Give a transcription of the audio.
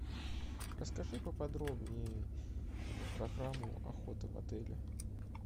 расскажи поподробнее программу охоты в отеле